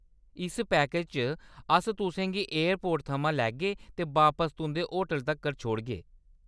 इस पैकेज च अस तु'सें गी एयरपोर्ट थमां लैग्गे ते बापस तुंʼदे होटल तक्कर छोड़गे।